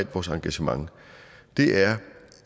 vores engagement er